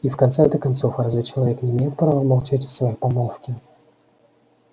и в конце то концов разве человек не имеет права молчать о своей помолвке